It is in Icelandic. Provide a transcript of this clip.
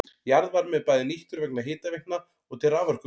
Jarðvarmi er bæði nýttur vegna hitaveitna og til raforkuvinnslu.